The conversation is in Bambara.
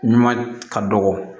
Ɲuman ka dɔgɔ